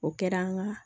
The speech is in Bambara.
O kɛra an ka